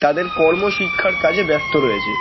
তাদের কর্ম শিক্ষার কাজে ব্যস্ত রয়েছে ।